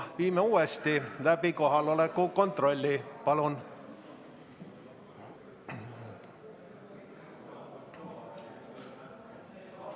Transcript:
Viime kohaloleku kontrolli uuesti läbi, palun!